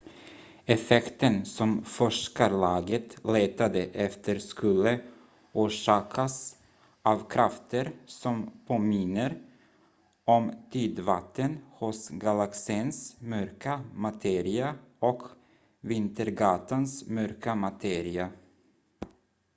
effekten som forskarlaget letade efter skulle orsakas av krafter som påminner om tidvatten hos galaxens mörka materia och vintergatans mörka materia